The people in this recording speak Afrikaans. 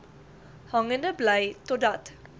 hangende bly totdat